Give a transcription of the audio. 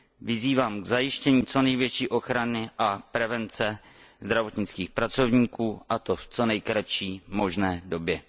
Vyzývám k zajištění co největší ochrany a prevence zdravotnických pracovníků, a to v co nejkratší možné době.